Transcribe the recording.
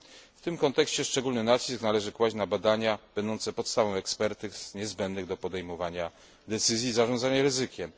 W tym kontekście szczególny nacisk należy kłaść na badania będące podstawą ekspertyz niezbędnych do podejmowania decyzji i zarządzania ryzykiem.